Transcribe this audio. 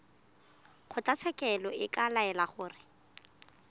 kgotlatshekelo e ka laela gore